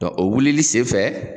o wilili sen fɛ